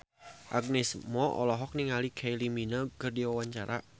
Agnes Mo olohok ningali Kylie Minogue keur diwawancara